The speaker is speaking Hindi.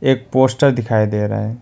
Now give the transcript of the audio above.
एक पोस्टर दिखाई दे रहा है।